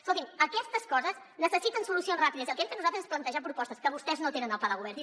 escolti’m aquestes coses necessiten solucions ràpides i el que hem fet nosaltres és plantejar propostes que vostès no tenen al pla de govern